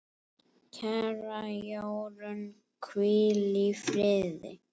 Kæra Jórunn, hvíl í friði.